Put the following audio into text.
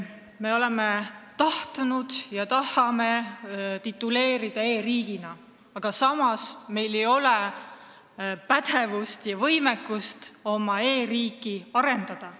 Me oleme tahtnud end tituleerida e-riigiks, aga samas meil ei ole pädevust ega võimekust oma e-riiki paremaks muuta.